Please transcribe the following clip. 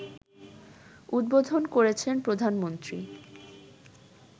উদ্বোধন করেছেন প্রধানমন্ত্রী